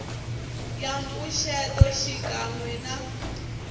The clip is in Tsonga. ya mpfuxeto xikan we na